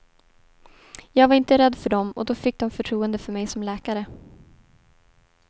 Jag var inte rädd för dem och då fick de förtroende för mig som läkare.